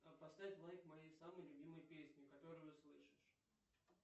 поставь лайк моей самой любимой песне которую услышишь